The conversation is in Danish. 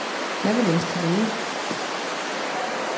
Jeg vil læse til læge.